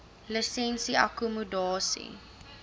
lisensie akkommodasie